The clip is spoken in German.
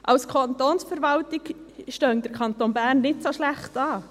Als Kantonsverwaltung stehe der Kanton Bern nicht so schlecht da;